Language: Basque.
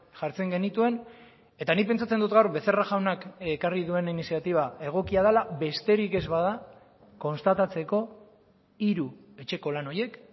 jartzen genituen eta nik pentsatzen dut gaur becerra jaunak ekarri duen iniziatiba egokia dela besterik ez bada konstatatzeko hiru etxeko lan horiek